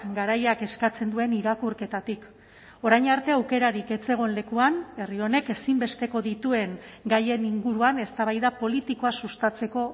garaiak eskatzen duen irakurketatik orain arte aukerarik ez zegoen lekuan herri honek ezinbesteko dituen gaien inguruan eztabaida politikoa sustatzeko